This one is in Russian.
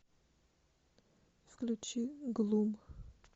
включи глум